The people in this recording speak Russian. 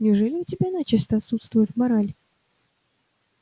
неужели у тебя начисто отсутствует мораль